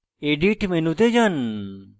edit মেনুতে যান